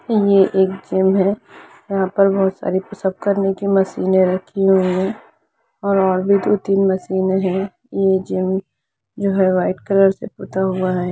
ये एक जिम है यहा पर बहुत सारी पुश अप करने की मशीने रखी हुई है और नोर्माली तीन मशीने है यह जिम जो व्हाइट कलर से पोता हुवा है।